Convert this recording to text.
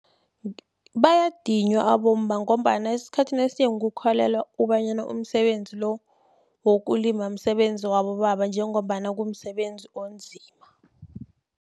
Bayadinywa abomma, ngombana esikhathini esinengi kukholelwa kobanyana umsebenzi lo, wokulima kumsebenzi wabobaba, njengombana kumsebenzi onzima.